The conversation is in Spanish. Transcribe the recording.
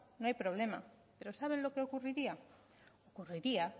no hay problema pero saben lo que ocurriría ocurriría